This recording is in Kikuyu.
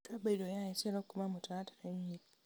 Ruta bairũ ya eselo kuma mũtaratara-inĩ .